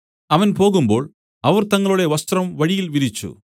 അവൻ പോകുമ്പോൾ അവർ തങ്ങളുടെ വസ്ത്രം വഴിയിൽ വിരിച്ചു